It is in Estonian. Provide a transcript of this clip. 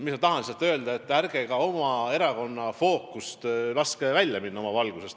Ma tahan lihtsalt öelda, et ärge ka oma erakonda fookusest välja laske.